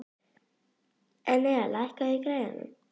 Enea, lækkaðu í græjunum.